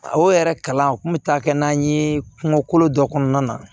O yɛrɛ kalan kun bɛ taa kɛ n'an ye kungolo kolo dɔ kɔnɔna na